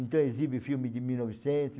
Então exibe filme de mil e novecentos